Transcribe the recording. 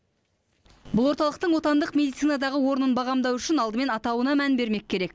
бұл орталықтың отандық медицинадағы орнын бағамдау үшін алдымен атауына мән бермек керек